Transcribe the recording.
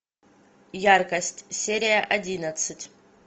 яркость серия одиннадцать